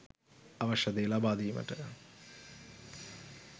අවශ්‍ය දේ ලබාදීමට